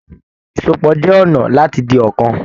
Ìsopọ̀ jẹ ọnà láti di ọ̀kan.